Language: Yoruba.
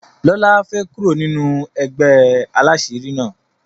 lola fè kúrò nínú ègbé àlàṣiri na.